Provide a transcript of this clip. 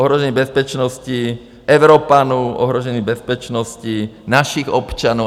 Ohrožení bezpečnosti Evropanů, ohrožení bezpečnosti našich občanů.